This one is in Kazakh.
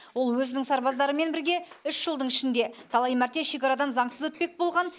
ол өзінің сарбаздарымен бірге үш жылдың ішінде талай мәрте шекарадан заңсыз өтпек болған